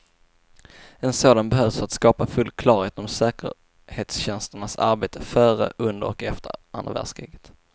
En sådan behövs för att skapa full klarhet om säkerhetstjänsternas arbete före, under och efter andra världskriget.